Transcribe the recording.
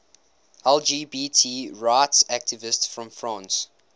lgbt rights activists from france